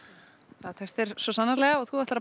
það tekst þér svo sannarlega og þú ætlar að